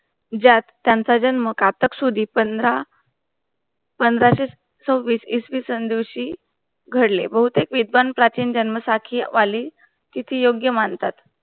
ज्यात त्यांचा जण मुखपात सुधी पंधरा पंधरा से छोभिस इश्वी संधूंशी घडले. बहुतथीक विधवांन प्राचीन जनमसखी वाले तिथी योग्य मंथात.